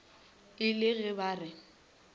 e le ge ba re